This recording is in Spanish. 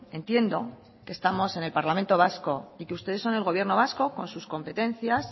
entiendo que estamos en el parlamento vasco y que ustedes son el gobierno vasco con sus competencias